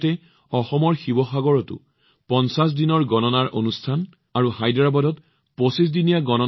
একে সময়তে অসমৰ শিৱসাগৰত ৫০তম কাউণ্টডাউন আৰু ২৫তমটো হায়দৰাবাদত অনুষ্ঠিত হৈছে